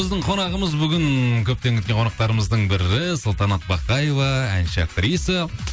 біздің қонағымыз бүгін көптен күткен қонақтарымыздың бірі салтанат бақаева әнші актриса